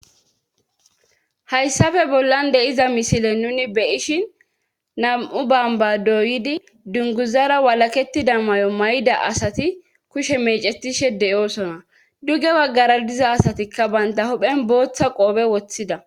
hayssafe bollan de7iza misile nuni beyishin nam7u bomba doyidi dunguzara walaketida mayo may7ida asati kushe mecetishe de7oosona duge waggara diza asatikka baynta hohphen booththa qoobe woththida